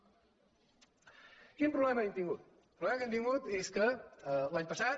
quin problema hem tingut el problema que hem tin·gut és que l’any passat